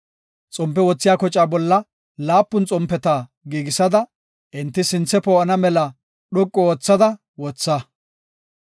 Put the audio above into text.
“Xompe wothiya kocaa bolla laapun xompeta giigisada, enti sinthe poo7ana mela dhoqu oothada wotha.